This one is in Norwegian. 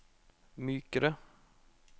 mykere